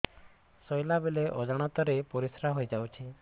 ଶୋଇଲା ବେଳେ ଅଜାଣତ ରେ ପରିସ୍ରା ହେଇଯାଉଛି